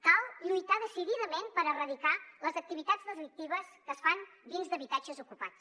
cal lluitar decididament per erradicar les activitats delictives que es fan dins d’habitatges ocupats